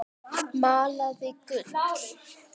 Malaði gull.